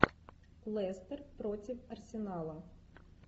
лестер против арсенала